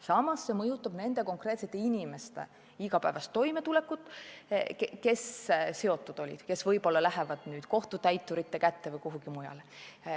Samas mõjutab see nende konkreetsete inimeste igapäevast toimetulekut, kes asjaga seotud olid, kes võib-olla langevad siis kohtutäiturite meelevalda.